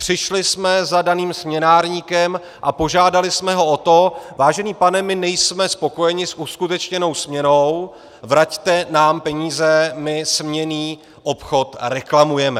Přišli jsme za daným směnárníkem a požádali jsme ho o to - vážený pane, my nejsme spokojeni s uskutečněnou směnou, vraťte nám peníze, my směnný obchod reklamujeme.